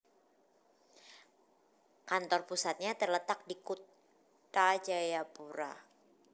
Kantor pusatnya terletak di Kutha Jayapura